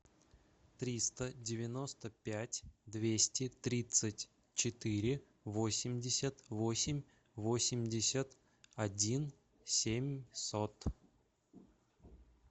триста девяносто пять двести тридцать четыре восемьдесят восемь восемьдесят один семьсот